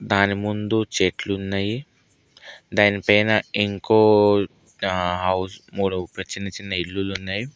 దాని ముందు చెట్లు ఉన్నాయి దాని పైన ఇంకో హౌస్ మూల ఒక చిన్న చిన్న ఇల్లులు ఉన్నాయి.